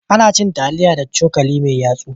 Ana cin taliya da cokali mai yatsu.